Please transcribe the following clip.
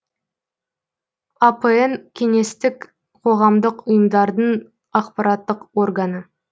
апн кеңестік қоғамдық ұйымдардың ақпараттық органы